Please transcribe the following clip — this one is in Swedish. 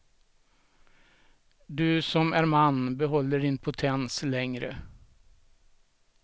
Du som är man behåller din potens längre.